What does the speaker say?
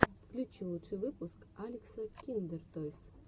включи лучший выпуск алекса киндертойс